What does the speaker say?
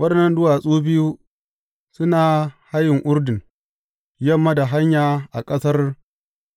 Waɗannan duwatsu biyu suna a hayin Urdun, yamma da hanya a ƙasar